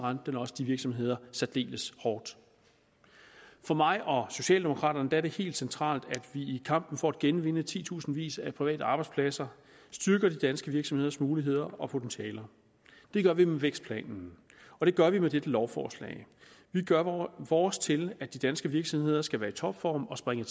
også de virksomheder særdeles hårdt for mig og socialdemokraterne er det helt centralt at i kampen for at genvinde titusindvis af private arbejdspladser styrker de danske virksomheders muligheder og potentialer det gør vi med vækstplanen og det gør vi med dette lovforslag vi gør vores til at de danske virksomheder skal være i topform og springe